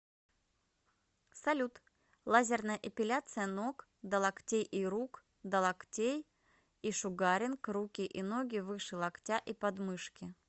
салют лазерная эпиляция ног до локтей и рук до локтей и шугаринг руки и ноги выше локтя и подмышки